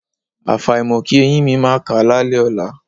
Àfàìmọ̀ kí eyín mi máà ká lálẹ́ ọ̀la.